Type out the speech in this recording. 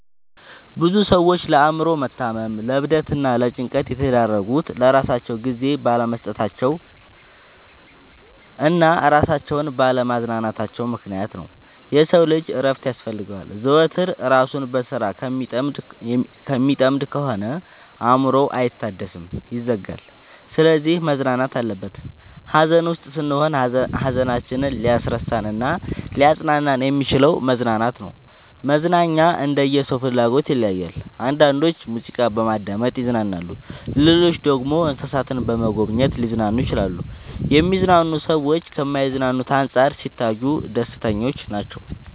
ብዙ ሰዎች ለአእምሮ መታመም ለዕብደት እና ለጭንቀት የተዳረጉት ለራሳቸው ጊዜ ባለመስጠታቸው እና እራሳቸውን ባለ ማዝናናታቸው ምክንያት ነው። የሰው ልጅ እረፍት ያስፈልገዋል። ዘወትር እራሱን በስራ ከሚጠምድ ከሆነ አእምሮው አይታደስም ይዝጋል። ስለዚህ መዝናናት አለበት። ሀዘን ውስጥ ስንሆን ሀዘናችንን ሊያስረሳን እናሊያፅናናን የሚችለው መዝናናት ነው። መዝናናኛ እንደየ ሰው ፍላጎት ይለያያል። አንዳንዶች ሙዚቃ በማዳመጥ ይዝናናሉ ሌሎች ደግሞ እንሰሳትን በመጎብኘት ሊዝናኑ ይችላሉ። የሚዝናኑ ሰዎች ከማይዝናኑት አንፃር ሲታዩ ደስተኞች ናቸው።